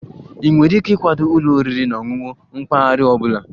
Ị nwere ike ịkwado ụlọ oriri na ọṅụṅụ mpaghara ọ bụla?